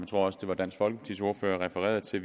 tror også at dansk folkepartis ordfører refererede til